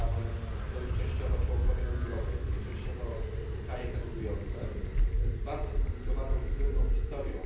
Bałkany to już częściowo członkowie Unii Europejskiej, częściowo kraje kandydujące, z bardzo skomplikowaną i trudną historią.